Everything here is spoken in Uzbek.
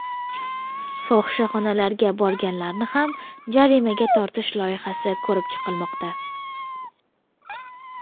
Fohishaxonalarga borganlarni ham jarimaga tortish loyihasi ko‘rib chiqilmoqda .